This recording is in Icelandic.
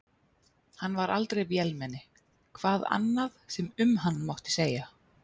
Hann var aldrei vélmenni, hvað annað sem um hann mátti segja.